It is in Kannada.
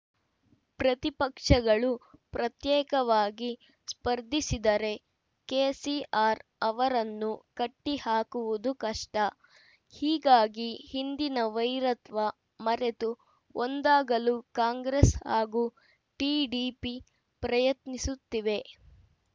ಪ್ರತಿಪಕ್ಷಗಳು ಪ್ರತ್ಯೇಕವಾಗಿ ಸ್ಪರ್ಧಿಸಿದರೆ ಕೆಸಿಆರ್‌ ಅವರನ್ನು ಕಟ್ಟಿಹಾಕುವುದು ಕಷ್ಟ ಹೀಗಾಗಿ ಹಿಂದಿನ ವೈರತ್ವ ಮರೆತು ಒಂದಾಗಲು ಕಾಂಗ್ರೆಸ್‌ ಹಾಗೂ ಟಿಡಿಪಿ ಪ್ರಯತ್ನಿಸುತ್ತಿವೆ